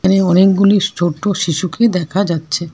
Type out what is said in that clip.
এখানে অনেকগুলি ছোট্ট শিশুকি দেখা যাচ্ছে।